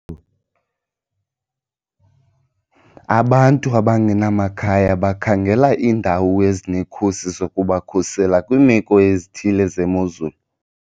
Abantu abangenamakhaya bakhangela iindawo ezinekhusi zokubakhusela kwiimeko ezithile zemozulu.